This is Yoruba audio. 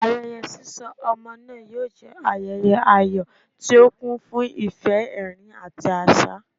Ayẹyẹ sisọ ọmọ naa yoo jẹ ayẹyẹ ayọ ti o kun fun ifẹ, ẹrin, ati aṣa.